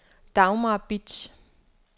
Dagmar Bitsch